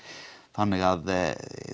þannig